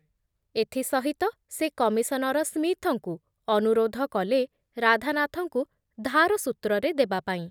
ଏଥି ସହିତ ସେ କମିଶନର ସ୍ମିଥଙ୍କୁ ଅନୁରୋଧ କଲେ ରାଧାନାଥଙ୍କୁ ଧାର ସୂତ୍ରରେ ଦେବାପାଇଁ ।